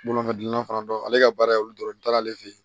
Bolomafɛn gilanna fana don ale ka baara ye olu dɔrɔn ye n t'ale fɛ yen